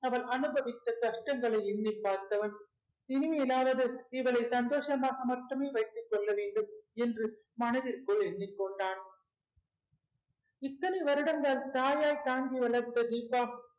அவள் அனுபவித்த கஷ்டங்களை எண்ணிப் பார்த்தவன் இனிமேலாவது இவளை சந்தோஷமாக மட்டுமே வைத்துக் கொள்ள வேண்டும் என்று மனதிற்குள் எண்ணிக் கொண்டான். இத்தனை வருடங்கள் தாயாய் தாங்கி வளர்த்த தீபா